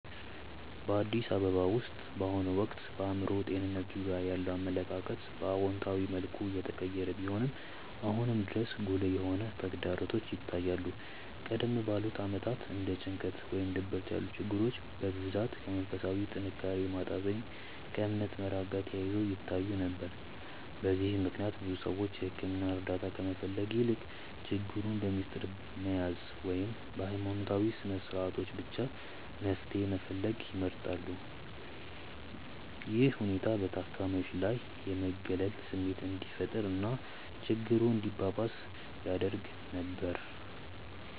በአዲስ አበባ ውስጥ በአሁኑ ወቅት በአእምሮ ጤንነት ዙሪያ ያለው አመለካከት በአዎንታዊ መልኩ እየተቀየረ ቢሆንም፣ አሁንም ድረስ ጉልህ የሆኑ ተግዳሮቶች ይታያሉ። ቀደም ባሉት ዓመታት እንደ ጭንቀት ወይም ድብርት ያሉ ችግሮች በብዛት ከመንፈሳዊ ጥንካሬ ማጣት ወይም ከእምነት መራቅ ጋር ተያይዘው ይታዩ ነበር። በዚህም ምክንያት ብዙ ሰዎች የሕክምና እርዳታ ከመፈለግ ይልቅ ችግሩን በምስጢር መያዝን ወይም በሃይማኖታዊ ስነስርዓቶች ብቻ መፍትሄ መፈለግን ይመርጡ ነበር። ይህ ሁኔታ በታካሚዎች ላይ የመገለል ስሜት እንዲፈጠር እና ችግሩ እንዲባባስ ያደርግ ነበር።